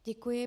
Děkuji.